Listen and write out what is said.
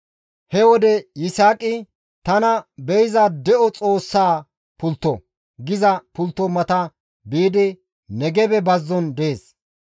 He wode Yisaaqi, «Tana Be7iza De7o Xoossaa Pultto» giza pulttoza mata biidi, Negebe bazzon dees.